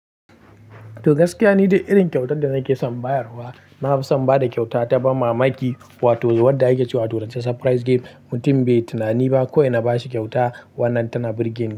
To gaskiya ni da irin kyautar da nake son bayarwa, na fi son ba da kyauta ta ban mamaki wato wadda ake cewa a turance "surprise gift". Mutum bai tunani ba kawai na bashi kyauta, wannan tana burge ni.